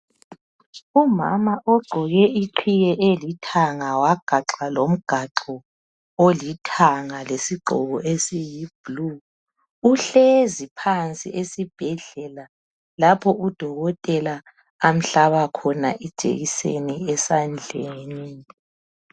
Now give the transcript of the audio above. Umama ogqoke iqhiye elithanga wagaxa lomgaxo olithanga lesigqoko esiyi"blue" ,uhlezi phansi esibhedlela lapho udokotela amhlaba khona ijekiseni esandleni.